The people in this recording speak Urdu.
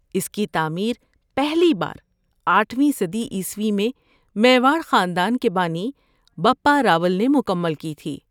‏اس کی تعمیر پہلی بار آٹھویں صدی عیسوی میں میواڑ خاندان کے بانی بپا راول نے مکمل کی تھی